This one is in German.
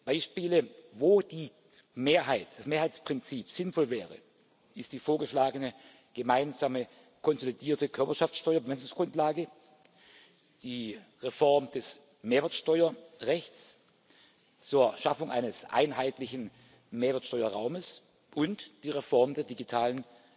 Beispiele, wo das Mehrheitsprinzip sinnvoll wäre, sind die vorgeschlagene gemeinsame konsolidierte Körperschaftsteuer Bemessungsgrundlage, die Reform des Mehrwertsteuerrechts zur Schaffung eines einheitlichen Mehrwertsteuerraums und die Reform der digitalen